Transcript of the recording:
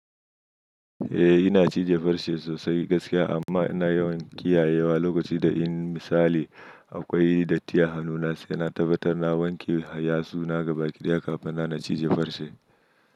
Eh ina cije farce sosai gaskiya amma ina yawan kiyayewa lokaci da in misali akwai datti a hannuna sai na tabbatar na wanke har ya tsuna gabaki ɗaya kafin na cije farce.